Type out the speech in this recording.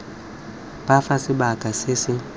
b fa sebaka se se